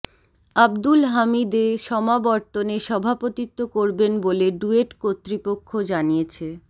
আবদুল হামিদ এ সমাবর্তনে সভাপতিত্ব করবেন বলে ডুয়েট কর্তৃপক্ষ জানিয়েছে